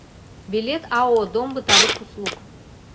билет ао дом бытовых услуг